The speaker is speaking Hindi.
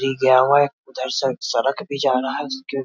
री गिया हुआ है उधर से एक सड़क भी जा रहा है उसके --